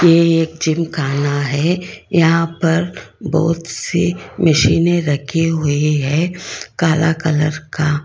ये एक जिम खाना है यहां पर बहुत सी मशीनें रखी हुई है काला कलर का।